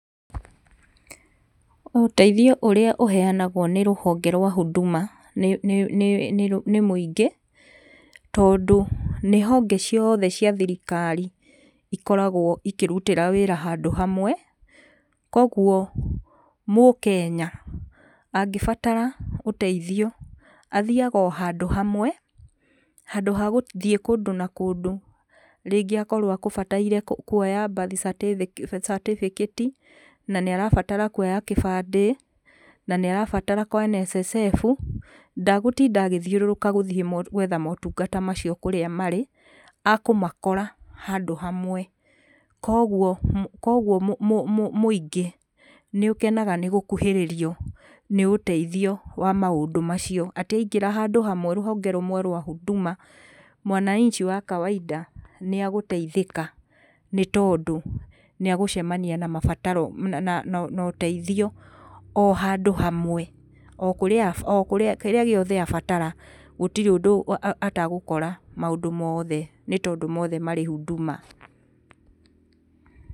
Ũteithio ũrĩa ũheangwo nĩ rũhonge rwa Huduma nĩ mũingĩ, tondũ nĩ honge cioothe cia thirikari ikoragwo ikĩrutĩra wĩra handũ hamwe, kwoguo Mũkenya angĩbatara ũteithio athiaga o handũ hamwe, handũ ha gũthiĩ kũndũ na kũndũ, rĩngĩ akorwo agũbataire kuoya birth certificate na nĩarabatara kuoya kĩbandĩ, na nĩarabatara kwa NSSF, ndagũtinda agĩthiũrũrũka gũthiĩ gwetha motungata macio kũrĩa marĩ, akũmakora handũ hamwe. Kwoguo kwoguo mũingĩ nĩũkenaga nĩgũkuhĩrĩrio nĩ ũteithio wa maũndũ macio. Atĩ aingĩra handũ hamwe rũhonge rũmwe rwa Huduma mwananchi wa kawaida nĩagũteithĩka nĩtondũ nĩagũcemania na mabataro na ũteitio o handũ hamwe. O kũrĩa o kũrĩa kĩrĩa gĩothe abatara, gũtirĩ ũndũ atagũkora maũndũ moothe nĩtondũ moothe marĩ Huduma.